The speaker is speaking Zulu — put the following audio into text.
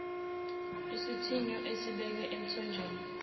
isithiyo esibekwe emthonjeni